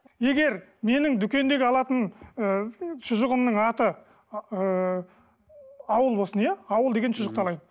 егер менің дүкендегі алатын ы шұжығымның аты ыыы ауыл болсын иә ауыл деген шұжықты алайық